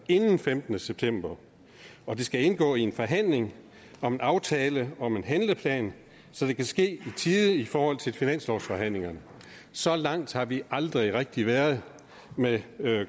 inden den femtende september og det skal indgå i en forhandling om en aftale om en handleplan så det kan ske i tide i forhold til finanslovsforhandlingerne så langt har vi aldrig rigtig været med